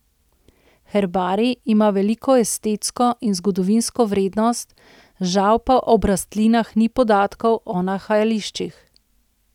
Herbarij ima veliko estetsko in zgodovinsko vrednost, žal pa ob rastlinah ni podatkov o nahajališčih.